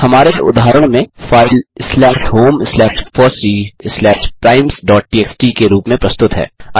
हमारे उदाहरण में file slash home slash FOSSEE slash primesटीएक्सटी के रूप में प्रस्तुत है